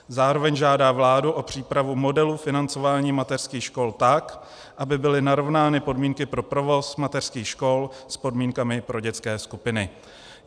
Zároveň žádá vládu o přípravu modelu financování mateřských škol tak, aby byly narovnány podmínky pro provoz mateřských škol s podmínkami pro dětské skupiny."